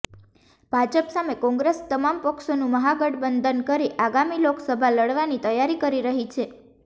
ભાજપ સામે કોંગ્રેસ તમામ પક્ષોનું મહાગઠબંધન કરી આગામી લોકસભા લડવાની તૈયારી કરી રહી છે